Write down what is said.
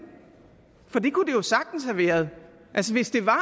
for det kunne det jo sagtens have været altså hvis det var